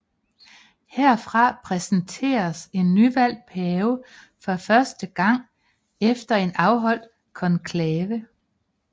Herfra præsenteres en nyvalgt pave for første gang efter en afholdt konklave